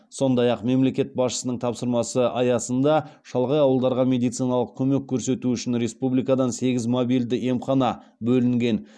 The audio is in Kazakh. сондай ақ мемлекет басшысының тапсырмасы аясында шалғай ауылдарға медициналық көмек көрсету үшін республикадан сегіз мобильді емхана бөлінген